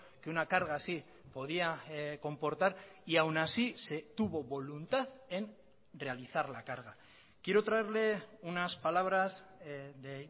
que una carga así podía comportar y aún así se tuvo voluntad en realizar la carga quiero traerle unas palabras de